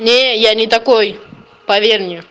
не я не такой поверь мне